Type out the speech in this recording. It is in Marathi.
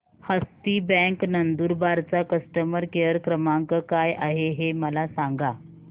हस्ती बँक नंदुरबार चा कस्टमर केअर क्रमांक काय आहे हे मला सांगा